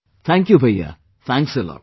Thank you Bhaiyya...Thanks a lot